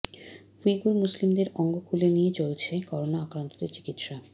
Uyghur মুসলিমদের অঙ্গ খুলে নিয়ে চলছে করোনা আক্রান্তদের চিকিৎসা